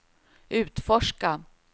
utforska